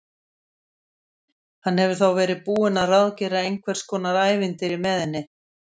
Hann hefur þá verið búinn að ráðgera einhvers konar ævintýri með henni!